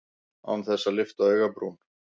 Án þess að lyfta augabrún.